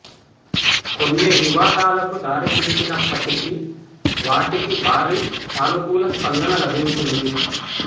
కొన్ని వివాదాలకు దారితీసినప్పటికీ వాటికి భారీ సానుకూల స్పందన లభించింది